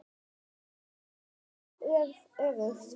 Þessu er alveg öfugt farið.